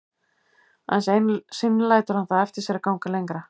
Aðeins einu sinni lætur hann það eftir sér að ganga lengra.